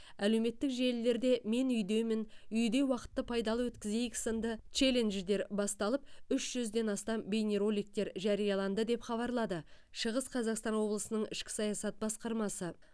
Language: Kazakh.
әлеуметтік желілерде мен үйдемін үйде уақытты пайдалы өткізейік сынды челлендждер басталып үш жүзден астам бейнероликтер жарияланды деп хабарлады шығыс қазақстан облысының ішкі саясат басқармасы